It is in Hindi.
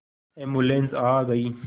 एम्बुलेन्स आ गई